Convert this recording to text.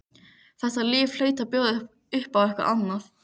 Þetta líf hlaut að bjóða upp á eitthvað annað.